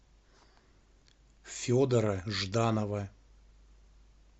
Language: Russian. федора жданова